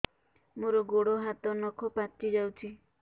ମୋର ଗୋଡ଼ ହାତ ନଖ ପାଚି ଯାଉଛି